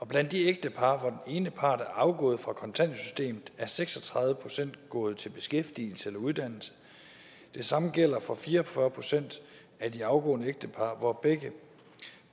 blandt de ægtepar hvor ene part er afgået fra kontanthjælpssystemet er seks og tredive procent gået til beskæftigelse eller uddannelse det samme gælder for fire og fyrre procent af de afgående ægtepar hvor begge